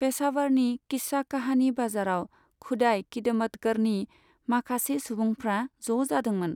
पेशावारनि किस्सा कहानी बाजाराव खुदाइ खिदमतगरनि माखासे सुबुंफ्रा ज' जादोंमोन।